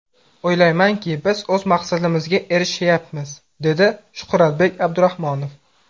O‘ylaymanki, biz o‘z maqsadimizga erishayapmiz”, dedi Shuhratbek Abdurahmonov.